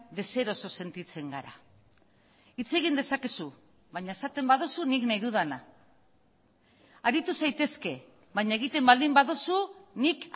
deseroso sentitzen gara hitz egin dezakezu baina esaten baduzu nik nahi dudana aritu zaitezke baina egiten baldin baduzu nik